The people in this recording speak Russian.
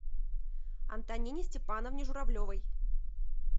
антонине степановне журавлевой